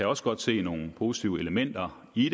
også godt se nogle positive elementer i